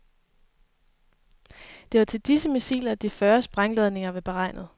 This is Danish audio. Det var til disse missiler, de fyrre sprængladninger var beregnet.